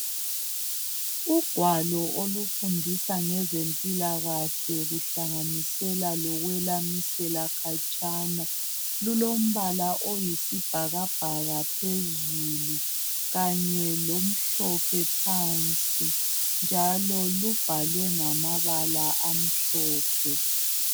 Ugwalo olufundisa ngezempilakahle kuhlanganisela lokwelamisela khatshana lulombala oyisibhakabhaka phezulu kanye lomhlophe phansi njalo lubhalwe ngamabala amhlophe.